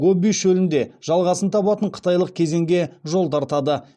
гоби шөлінде жалғасын табатын қытайлық кезеңге жол тартады